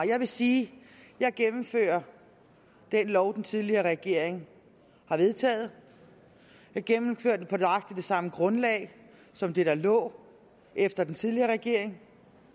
jeg vil sige at jeg gennemfører den lov den tidligere regering har vedtaget jeg gennemfører den på nøjagtig det samme grundlag som det der lå efter den tidligere regering